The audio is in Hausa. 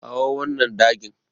Kawo wannan dagin.